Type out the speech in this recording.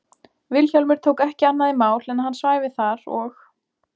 Vilhjálmur tók ekki annað í mál en að hann svæfi þar og